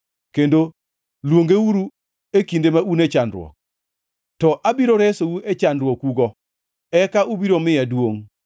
kendo luongauru e kinde ma un e chandruok; to abiro resou e chandruokugo, eka ubiro miya duongʼ.”